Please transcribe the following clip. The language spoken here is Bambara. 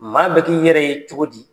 Maa bɛ k'i yɛrɛ ye cogo di?